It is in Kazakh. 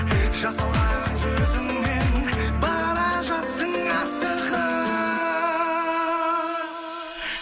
жасаураған жүзіңнен бара жатсың